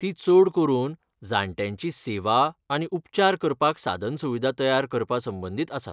ती चड करून जाण्ट्यांची सेवा आनी उपचार करपाक साधनसुविधा तयार करपासंबंदीत आसा.